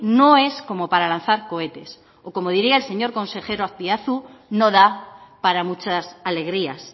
no es como para lanzar cohetes o como diría el señor consejero azpiazu no da para muchas alegrías